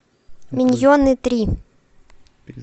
миньоны три